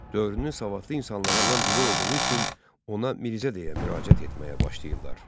Dövrünün savadlı insanlarından biri olduğu üçün ona Mirzə deyə müraciət etməyə başladılar.